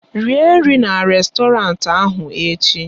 Rie nri na rèstọrantị ahụ echi!